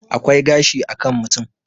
akwai gashi a kan mutum